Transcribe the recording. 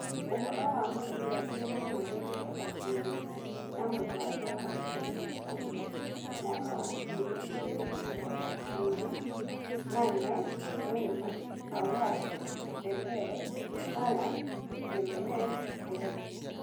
Ũhoro wa mũbira juma mweri mĩrongo ĩĩrĩ na mũgwanja wa ikũmi na ũmwe mwaka wa ngiri igĩrĩ na mĩrongo ĩĩrĩ: Mane, Neymar, Aouar, Dembele, Haaland, Gimenez, Gray